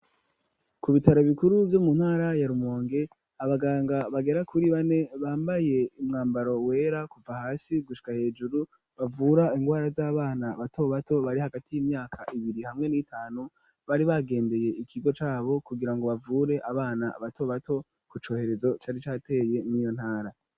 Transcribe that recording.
Ku bitaro bikuru vyo mu ntara ya Rumonge, abaganga bagera kuri bane bambaye umwambaro wera kuva hasi gushika hejuru, bavura indwara z'abana bato bato bari hagati y'imyaka ibiri hamwe n'itanu, bari bagendeye ikigo c'abo kugira ngo bavure abana bato bato ku corezo cari cateye mur'iyo ntara.